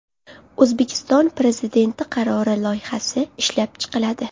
O‘zbekiston Prezidenti qarori loyihasi ishlab chiqiladi.